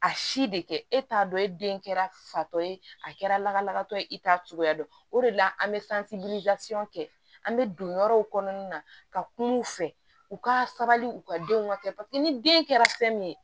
A si de kɛ e t'a dɔn e den kɛra fatɔ ye a kɛra lakalatɔ ye i t'a cogoya dɔn o de la an bɛ kɛ an bɛ don yɔrɔw kɔnɔna na ka kuma u fɛ u ka sabali u ka denw ka kɛ ni den kɛra fɛn min ye